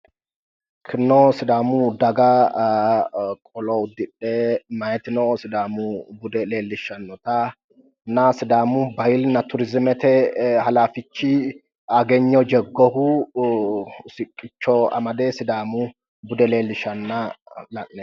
Kunino sidaamu daga qolo uddidhe meyaatino sidaamu bude leellishshannota sidaamu bahiilinna turiizimete halaafichi Agegno Jagohu sidaamu bude leellishanna la'neemmo.